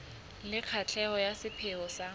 le katleho ya sepheo sa